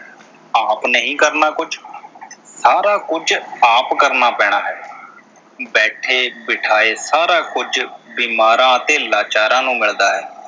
ਆਪ ਨਹੀਂ ਕਰਨਾ ਕੁਝ। ਸਾਰਾ ਕੁਝ ਆਪ ਕਰਨਾ ਪੈਣਾ ਹੈ, ਬੈਠੇ ਬਿਠਾਏ ਸਾਰਾ ਕੁਝ ਬਿਮਾਰਾਂ ਅਤੇ ਲਾਚਾਰਾਂ ਨੂੰ ਮਿਲਦਾ ਹੈ।